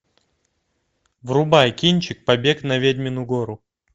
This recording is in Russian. врубай кинчик побег на ведьмину гору